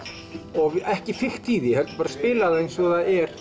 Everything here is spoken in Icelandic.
og ekki fikta í því heldur bara spila það eins og það er